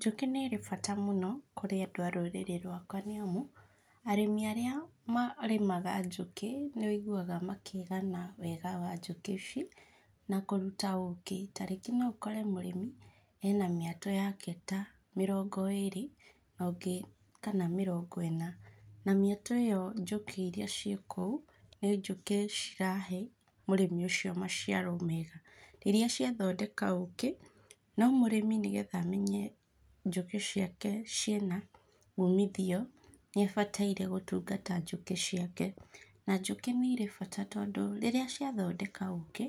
Njũkĩ nĩ irĩ bata mũno kũrĩ andũ a rũrĩrĩ rwakwa nĩamu arĩmi arĩa marĩmaga njũkĩ nĩũiguaga makĩgana wega wa njũkĩ ici na kũruta ũkĩ, ta rĩngĩ no ũkore mũrĩmi ena mĩetũ yake ta mĩrongo ĩrĩ no ũngĩ kana mĩrongo ĩna na mĩetũ ĩo njũkĩ iria ciĩ kũu nĩ njũkĩ cirahe mũrĩmi ũcio maciaro mega rĩrĩa ciathondeka ũkĩ. No mũrĩmi nĩ getha amenye njũkĩ ciake ciĩna umithio, nĩ abataire gũtungata njũkĩ ciake na njũkĩ nĩ irĩ bata tndũ rĩrĩa ciathondeka ũkĩ,